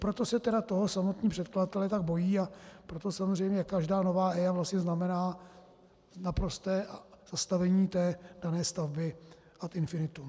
Proto se tedy toho samotní předkladatelé tak bojí a proto samozřejmě každá nová EIA vlastně znamená naprosté zastavení té dané stavby ad infinitum.